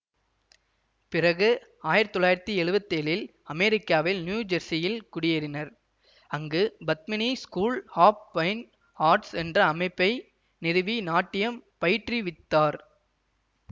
பிறகு ஆயிரத்தி தொள்ளாயிரத்தி எழுவத்தி ஏழில் அமெரிக்காவில் நியூ ஜெர்சியில் குடியேறினர் அங்கு Padmini school of fine arts என்ற அமைப்பை நிறுவி நாட்டியம் பயிற்றுவித்தார்